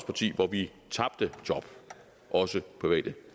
parti hvor vi tabte job også private